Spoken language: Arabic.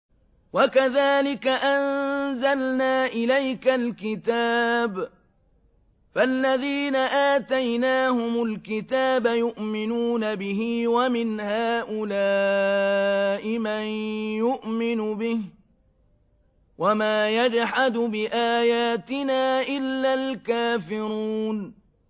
وَكَذَٰلِكَ أَنزَلْنَا إِلَيْكَ الْكِتَابَ ۚ فَالَّذِينَ آتَيْنَاهُمُ الْكِتَابَ يُؤْمِنُونَ بِهِ ۖ وَمِنْ هَٰؤُلَاءِ مَن يُؤْمِنُ بِهِ ۚ وَمَا يَجْحَدُ بِآيَاتِنَا إِلَّا الْكَافِرُونَ